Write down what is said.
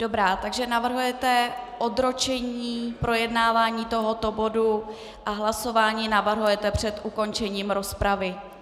Dobrá, takže navrhujete odročení projednávání tohoto bodu a hlasování navrhujete před ukončením rozpravy.